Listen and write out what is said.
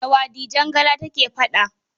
Da wa Dijangala take faɗa?